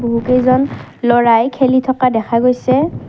বহুকেইজন ল'ৰাই খেলি থকা দেখা গৈছে।